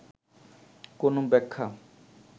কোন ব্যাখ্যা